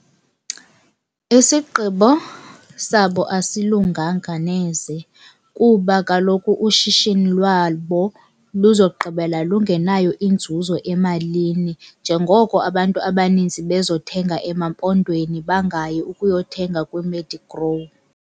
Isigqibo sabo asilunganga neze. Kuba kaloku ushishini lwabo luzogqibela lungenayo inzuzo emalini njengoko abantu abaninzi bezothenga EmaMpondweni bangayi ukuyothenga kwiMedigrow.